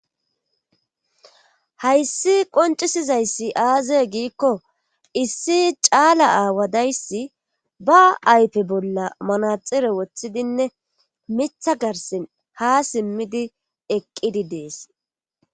Hayssi qoncisizayssi aazaye giikko issi caala aawadayssi ba aype bolla manaxire woththidinne mitha garsin ha simmidi eqqidi dees.